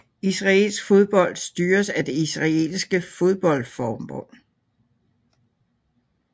Israelsk fodbold styres af Det israelske fodboldforbund